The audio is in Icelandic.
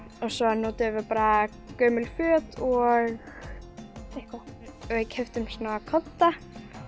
og svo notuðum við bara gömul föt og eitthvað við keyptum svona kodda